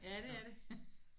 Ja det er det